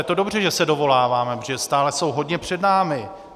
Je to dobře, že se dovoláváme, protože stále jsou hodně před námi.